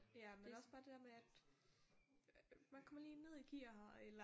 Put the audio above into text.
Ja men også bare det der med at man kommer lige ned i gear eller